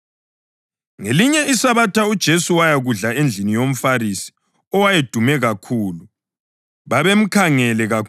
Ngelinye iSabatha uJesu wayakudla endlini yomFarisi owayedume kakhulu, babemkhangele kakhulu.